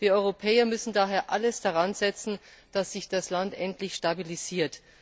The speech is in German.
Wir Europäer müssen daher alles daran setzen, dass sich das Land endlich stabilisiert.